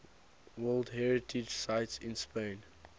world heritage sites in spain